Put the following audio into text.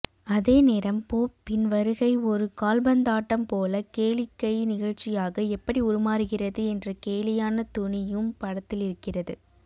அதே நேரம் போப்பின் வருகை ஒரு கால்பந்தாட்டம் போல கேளிக்கை நிகழ்ச்சியாக எப்படி உருமாறுகிறது என்ற கேலியான தொனியும் படத்திலிருக்கிறது